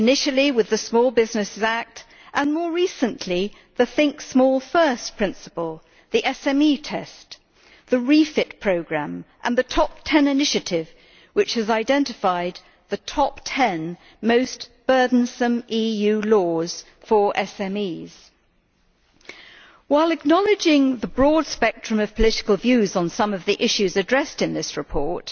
Initially with the Small Businesses Act and, more recently, the think small first' principle, the SME test, the REFIT programme and the Top Ten initiative, which has identified the top ten most burdensome EU laws for SMEs. While acknowledging the broad spectrum of political views on some of the issues addressed in this report,